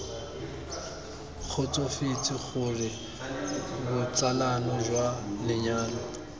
kgotsofetse gore botsalano jwa lenyalo